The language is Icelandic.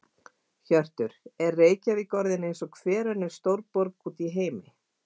Hjörtur: Er Reykjavík orðin eins og hver önnur stórborg út í heimi?